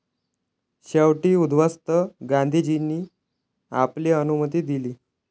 शेवटी उद्ध्वस्त गांधीजींनी आपली अनुमती दिली.